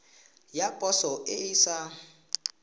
ya poso e e sa